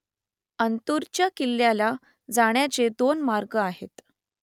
अंतुरच्या किल्ल्याला जाण्याचे दोन मार्ग आहेत